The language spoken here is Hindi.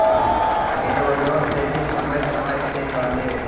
इन वजहों से भी समय से पहने जन्मा बच्चा हो सकता है